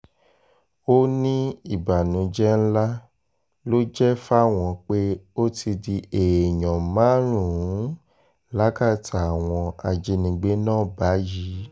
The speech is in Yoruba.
ó ní ìbànújẹ́ ńlá ló jẹ́ fáwọn pé ó ti di èèyàn márùn-ún lákàtà àwọn ajínigbé náà báyìí